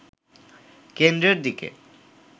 কেন্দ্রের দিকে